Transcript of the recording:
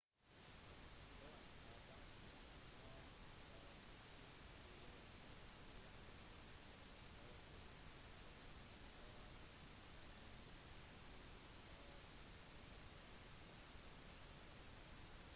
«hun er ganske skjønn og synger meget bra i tillegg» fortalte han ifølge en utskrift av nyhetskonferansen